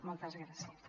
moltes gràcies